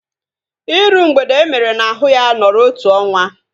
Iru mgbede emere n'ahu ya nọrọ otu ọnwa